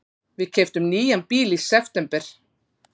Við keyptum nýjan bíl í september.